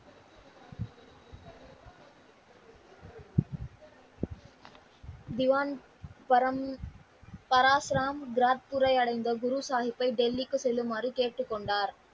திவான் பரம் பராசுரம் ராஜ்குடை அடைந்த குரு சாகிப்பை டெல்லிக்கு செல்லுமாறு கேட்டுக் கொண்டார்.